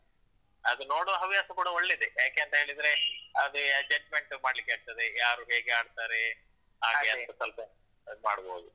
ಅದು ನೋಡುವ ಹವ್ಯಾಸ ಕೂಡ ಒಳ್ಳೇದೆ. ಯಾಕೆಂತ ಹೇಳಿದ್ರೆ ಅದೇ judgment ಮಾಡ್ಲಿಕ್ಕೆ ಆಗ್ತದೆ ಯಾರು ಹೇಗೆ ಆಡ್ತಾರೆ ಹಾಗೆ ಅದ್ ಮಾಡ್ಬೋದು.